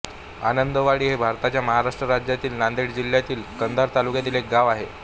आनंदवाडी हे भारताच्या महाराष्ट्र राज्यातील नांदेड जिल्ह्यातील कंधार तालुक्यातील एक गाव आहे